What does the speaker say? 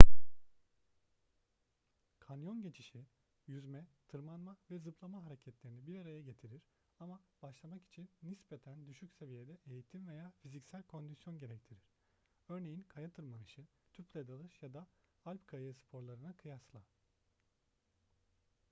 kanyon geçişi; yüzme tırmanma ve zıplama hareketlerini bir araya getirir ama başlamak için nispeten düşük seviyede eğitim veya fiziksel kondisyon gerektirir örneğin kaya tırmanışı tüple dalış ya da alp kayağı sporlarına kıyasla